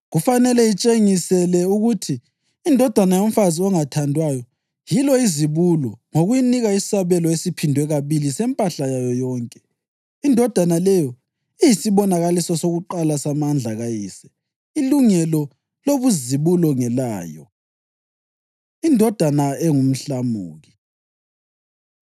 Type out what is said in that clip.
Kufanele itshengisele ukuthi indodana yomfazi ongathandwayo yilo izibulo ngokuyinika isabelo esiphindwe kabili sempahla yayo yonke. Indodana leyo iyisibonakaliso sakuqala samandla kayise. Ilungelo lobuzibulo ngelayo.” Indodana Engumhlamuki